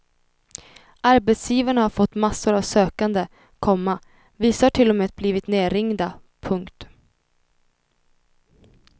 Arbetsgivarna har fått massor av sökande, komma vissa har till och med blivit nerringda. punkt